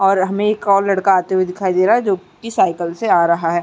और हमें एक और लड़का आते हुए दिखाई दे रहा है जो कि साइकिल से आ रहा है।